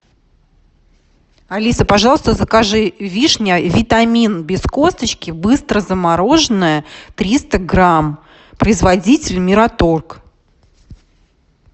алиса пожалуйста закажи вишня витамин без косточки быстрозамороженная триста грамм производитель мираторг